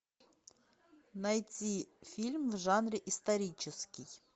найти фильм в жанре исторический